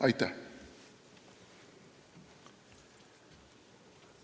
Aitäh!